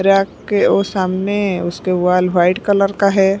Rack के और सामने उसके वॉल व्हाइट कलर का है।